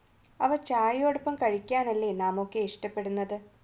അവ ചായയോടൊപ്പം കഴിക്കാനല്ലേ നാമൊക്കെ ഇഷ്ടപ്പെടുന്നത്